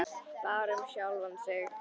Bara um sjálfan sig.